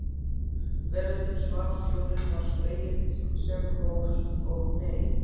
Veröldin svaf, sjórinn var spegill sem hófst og hneig.